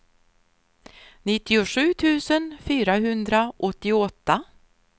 nittiosju tusen fyrahundraåttioåtta